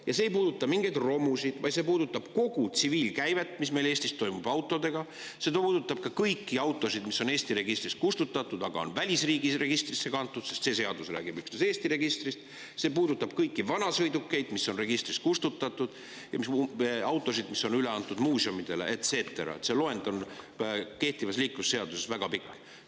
Ja see ei puuduta mingeid romusid, vaid see puudutab kogu tsiviilkäivet, mis meil Eestis toimub autodega; see puudutab ka kõiki autosid, mis on Eesti registrist kustutatud, aga on välisriigis registrisse kantud, sest see seadus räägib üksnes Eesti registrist; see puudutab kõiki vanasõidukeid, mis on registrist kustutatud, ja autosid, mis on üle antud muuseumidele, et cetera, see loend on kehtivas liiklusseaduses väga pikk.